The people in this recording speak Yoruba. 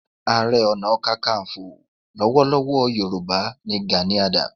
Ààrẹ Ọ̀nà Kakaǹfò lọ́wọ́lọ́wọ́ Yorùbá ni Gani Adams.